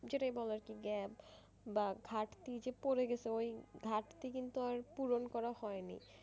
যেটা বলে আরকি gap বা ঘাটতিযে পড়ে গেছে ওই ঘাটতি কিন্তু আর পুরন করা হয়নি।